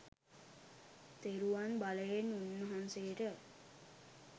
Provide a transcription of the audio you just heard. තෙරුවන් බලයෙන් උන්වහන්සේට